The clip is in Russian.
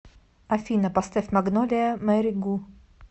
афина поставь магнолия мэри гу